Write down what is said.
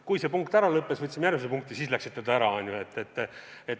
Kui see punkt ära lõppes ja me võtsime ette järgmise punkti, siis te läksite ära.